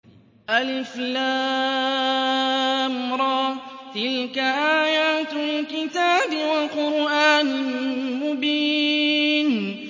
الر ۚ تِلْكَ آيَاتُ الْكِتَابِ وَقُرْآنٍ مُّبِينٍ